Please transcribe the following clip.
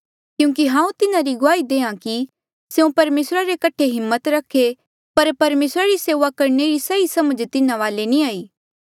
क्यूंकि हांऊँ तिन्हारी गुआही देहां कि स्यों परमेसरा रे कठे हिम्मत रखे पर परमेसरा री सेऊआ करणे री सही समझ तिन्हा वाले नी